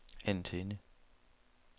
antenne